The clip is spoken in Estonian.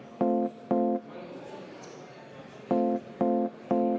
Võtan juhataja …